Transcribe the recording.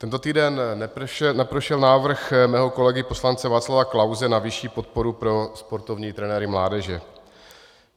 Tento týden neprošel návrh mého kolegy poslance Václava Klause na vyšší podporu pro sportovní trenéry mládeže.